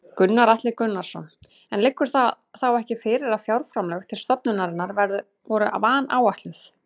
Gunnar Atli Gunnarsson: En liggur þá ekki fyrir að fjárframlög til stofnunarinnar voru vanáætluð?